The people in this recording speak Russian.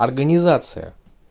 организация